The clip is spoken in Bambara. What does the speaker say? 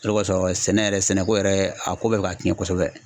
O de kɔsɔn sɛnɛ yɛrɛ sɛnɛko yɛrɛ a ko bɛɛ bɛka cɛn kosɛbɛ.